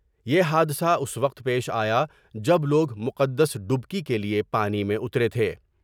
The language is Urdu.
یہ حادثہ اُس وقت پیش آیا جب لوگ مقدس ڈپکی کی لئے پانی میں اترے تھے ۔